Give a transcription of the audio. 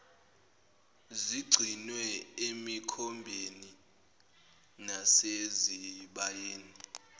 zigcinwe emikhombeni nasezibayeni